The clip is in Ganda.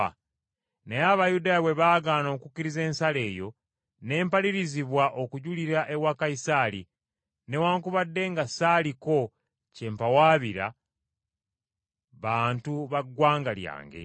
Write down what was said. Naye Abayudaaya bwe baagaana okukkiriza ensala eyo, ne mpalirizibwa okujulira ewa Kayisaali, newaakubadde nga saaliko kye mpawaabira bantu ba ggwanga lyange.